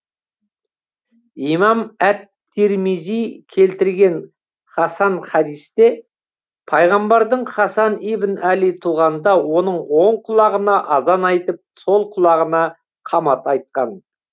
имам әт тирмизи келтірген хасан хадисте пайғамбардың хасан ибн әли туғанда оның оң құлағына азан айтып сол құлағына қамат айтқан